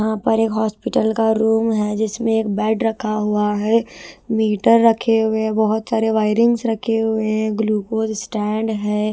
यहां पर एक हॉस्पिटल का रूम है जिसमें एक बेड रखा हुआ है मीटर रखे हुए हैं बहुत सारे वायरिंगस रखे हुए हैं ग्लूकोज स्टैंड है।